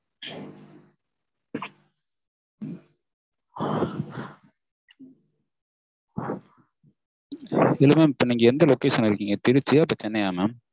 இல்ல mam நீங்க இப்ப எந்த location ல இருக்கீங்க திருச்சியா இப்ப சென்னையா mam